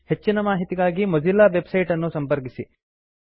ಹೆಚ್ಚಿನ ಮಾಹಿತಿಗಾಗಿ Mozilla website ಅನ್ನು ಸಂಪರ್ಕಿಸಿ